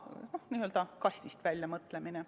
See on ka n-ö kastist väljapoole mõtlemine.